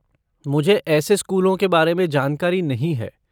मुझे ऐसे स्कूलों के बारे में जानकारी नहीं है।